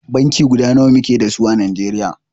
Banki guda nawa muke da su à Najeriya.